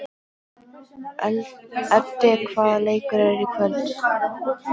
Öddi, hvaða leikir eru í kvöld?